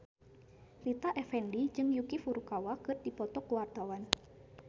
Rita Effendy jeung Yuki Furukawa keur dipoto ku wartawan